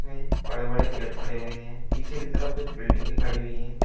बड़े बड़े पेड़ खड़े हुए हैं पीछे की तरफ कुछ बिल्डिंगे खड़ी हुई हैं।